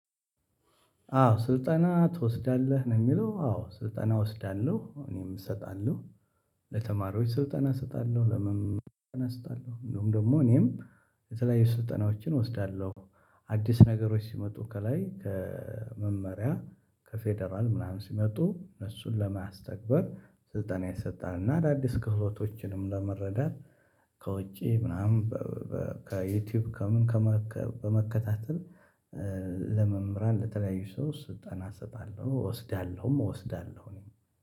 አዎ ስልጠና ትወስዳለህ ነው የሚለው አዎ ስልጠና እወስዳለሁ እኔም እሰጣለሁ። ለተማሪዎች ስልጠና እሰጣለሁ ለመመልከት እሰጣለሁ እንደውም ደግሞ እኔም የተለያዩ ስልጠናዎችን እወስዳለሁ። አዲስ ነገሮች ሲመጡ ከላይ ከመመሪያ ከፌደራል ምናምን ሲመጡ እሱን ለማስተግበር ስልጠና ይሰጣል እና አዳዲስ ክህሎቶችንም ለመረዳት ከውጪ ምናምን ከዩቲዩብ ከምን ከመከታተል። ለመምህራን ለተለያዩ ሰው ስልጠና አሰጣለሁ እወስዳለሁም እወስዳለሁ እኔ